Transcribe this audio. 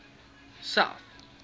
south